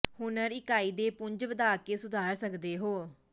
ਹੁਨਰ ਇਕਾਈ ਦੇ ਪੁੰਜ ਵਧਾ ਕੇ ਸੁਧਾਰ ਸਕਦੇ ਹੋ